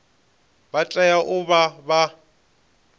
vha tea u vha vha